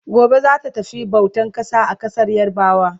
Gobe zata tafi bautan ƙasa a ƙasar yarabawa